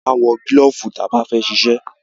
A máa ń wọ gílọ̀fù ta bá fẹ́ ṣiṣẹ́.